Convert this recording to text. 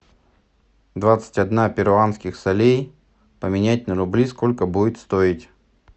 двадцать одна перуанских солей поменять на рубли сколько будет стоить